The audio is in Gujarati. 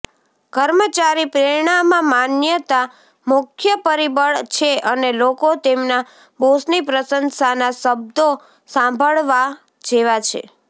કર્મચારી પ્રેરણામાં માન્યતા મુખ્ય પરિબળ છે અને લોકો તેમના બોસની પ્રશંસાના શબ્દો સાંભળવા જેવા છે